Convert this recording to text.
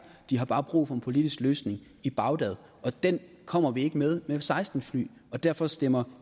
de har bare brug for en politisk løsning i bagdad og den kommer vi ikke med med f seksten fly og derfor stemmer